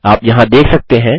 आप यहाँ देख सकते हैं